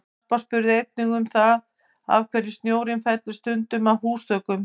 Harpa spurði einnig um það af hverju snjórinn fellur stundum af húsþökum?